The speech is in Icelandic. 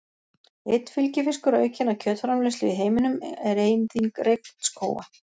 Einn fylgifiskur aukinnar kjötframleiðslu í heiminum er eyðing regnskóga.